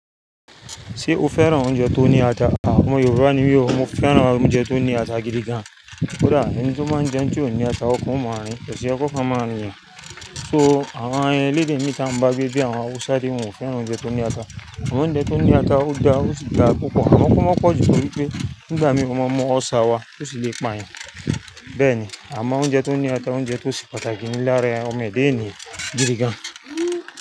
Ṣé o fẹ́ran oúnjẹ tó ní ata? À ọmọ Yorùbá ní mi ò mo fẹ́ran oúnjẹ tó ní ata gidi gan. Kódà ẹni tó báa ń jẹun tí ó ní ata, ọkan o mọ́ rín, kò sì yẹ ki ọkan máa rìn yàn. So àwọn elédè mí tí a ń bá gbé bíi àwọn Hausa de, wọn ò fẹ́ran oúnjẹ tó ní ata. Òúnjẹ tó ní ata ó da ó sì dara púpọ, àmọ ko máa pọ̀jú torí pé nígbà mìí o máa mú ulcer wá ó sì lè pa yan. Bẹ́ẹ̀ ni, àmọ́ oúnjẹ tó ní ata, oúnjẹ tó se pàtàkì ní lára ẹ ọmọ Èda ènìyàn gidi gan.